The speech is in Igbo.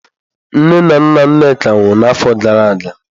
Nne na nna Nneka nwụrụ n'afọ gara aga.